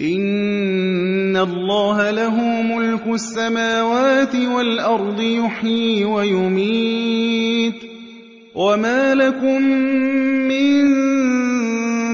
إِنَّ اللَّهَ لَهُ مُلْكُ السَّمَاوَاتِ وَالْأَرْضِ ۖ يُحْيِي وَيُمِيتُ ۚ وَمَا لَكُم مِّن